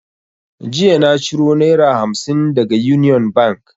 Jiya na ciro naira hamsin daga union bank